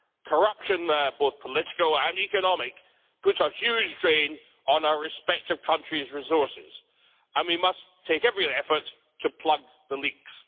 Corruption, both political and economic, puts a huge drain on our respective countries' resources, and we must take every effort to plug the leaks.